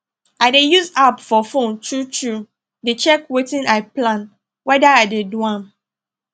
i dey use app for phone true true dey check wetin i plan weda i dey do am